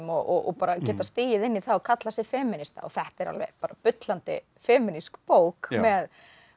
og bara getað stigið inn í það og kallað sig femínista og þetta er alveg bullandi femínísk bók með